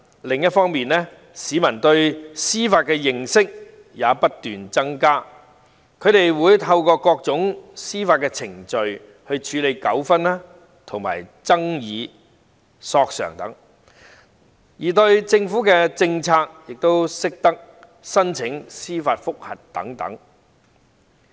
另一方面，隨着市民對司法的認識不斷增加，他們會透過各種司法程序處理糾紛、爭議和索償等，亦懂得就政府政策提出司法覆核。